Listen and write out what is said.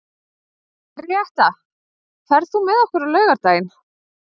Henríetta, ferð þú með okkur á laugardaginn?